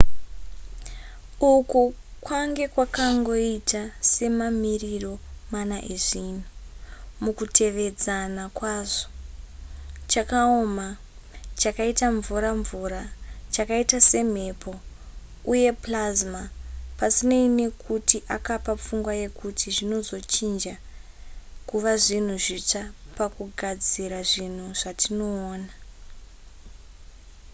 uku kwange kwakangoita semamiriro mana ezvinhu mukutevedzana kwazvo:chakaoma chakaita mvura-mvura chakaita semhepo uye plasma pasinei nekuti akapa pfungwa yekuti zvinozochinja kuva zvinhu zvitsva pakugadzira zvinhu zvatinoona